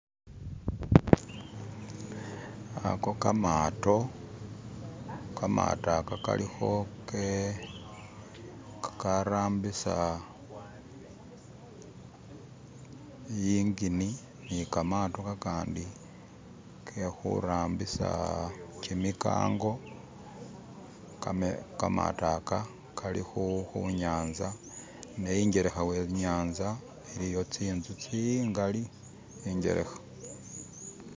Ako kamato, kamato ako kalikho kakarambisa i'ingini, nikamato kakandi kekhurambisa kimikango, kamato aka kalikhunyanza ne ing'elekha we'nyanza iliyo tsi'nzu tsingali ing'elekha .